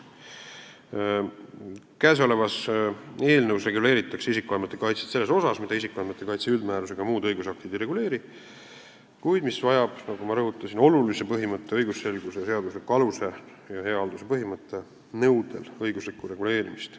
Käesolevas eelnõus reguleeritakse isikuandmete kaitset selles osas, mida isikuandmete kaitse üldmäärus ega muud õigusaktid ei reguleeri, kuid kus on vaja, nagu ma rõhutasin, olulisuse, õigusselguse, seadusliku aluse ja hea halduse põhimõtte nõudel õiguslikku reguleerimist.